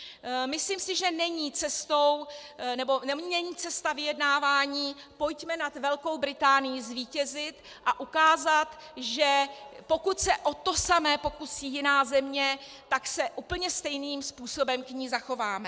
Myslím si, že není cesta vyjednávání: pojďme nad Velkou Británií zvítězit a ukázat, že pokud se o to samé pokusí jiná země, tak se úplně stejným způsobem k ní zachováme.